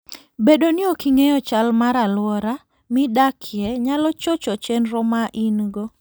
Bedo ni ok ing'eyo chal mar alwora midakie, nyalo chocho chenro ma in-go.